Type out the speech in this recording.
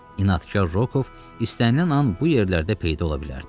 İnadkar Rokov istənilən an bu yerlərdə peyda ola bilərdi.